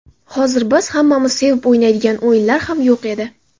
Hozir biz hammamiz sevib o‘ynaydigan o‘yinlar ham yo‘q edi.